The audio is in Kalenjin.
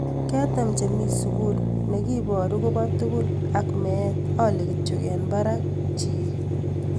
Ketem chemi mi sugul ne kiboruk kobo tugul ak met ale kityo en barak chieng�.